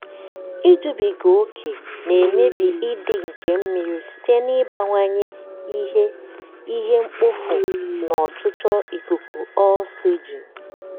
ijubiga ókè na-emebi ịdị nke mmiri site n'ịbawanye ihe ihe mkpofu na ọchịchọ ikuku oxygen.